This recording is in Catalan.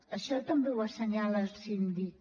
això també ho assenyala el síndic